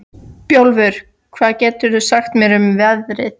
Bjólfur, hvað geturðu sagt mér um veðrið?